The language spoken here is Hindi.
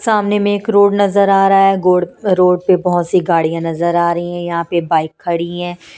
सामने में एक रोड नजर आ रहा है गोड रोड पे बहुत सी गाड़ियां नजर आ रही हैं यहां पे बाइक खड़ी हैं।